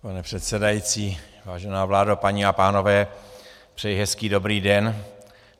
Pane předsedající, vážená vládo, paní a pánové, přeji hezký dobrý den.